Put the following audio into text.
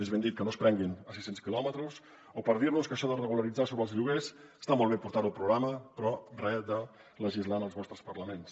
més ben dit que no es prenguin a sis cents quilòmetres o per dir nos que això de regularitzar sobre els lloguers està molt bé portar ho al programa però re de legislar en els vostres parlaments